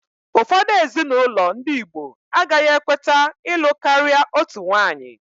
Ụfọdụ ezinaụlọ ndị igbo agaghị ekweta ịlụ karịa otu nwanyị